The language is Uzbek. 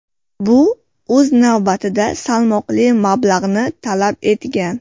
Bu, o‘z navbatida, salmoqli mablag‘ni talab etgan.